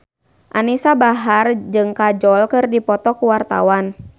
Anisa Bahar jeung Kajol keur dipoto ku wartawan